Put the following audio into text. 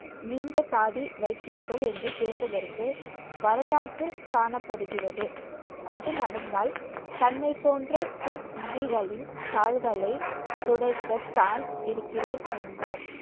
நீண்ட தாடி வைத்தீர்கள் என்று கேட்டதற்கு வரலாற்றில் காணப்படுகிறது. அது நடந்தால் தன்னைப் போன்ற குர்முகிகளின் கால்களை துடைக்கத்தான் இருக்கிறேன் என்றார்